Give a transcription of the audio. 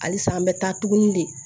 Halisa an bɛ taa tuguni de